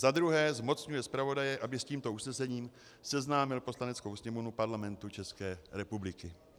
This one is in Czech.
Za druhé zmocňuje zpravodaje, aby s tímto usnesením seznámil Poslaneckou sněmovnu Parlamentu České republiky.